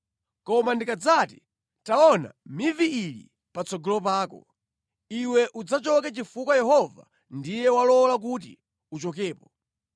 Koma ndikadzati, ‘Taona mivi ili patsogolo pako,’ iwe udzachoke chifukwa Yehova ndiye walola kuti uchokepo.